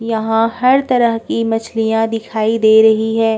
यहाँ हर तरह की मच्छलियाँ दिखाई दे रही हैं।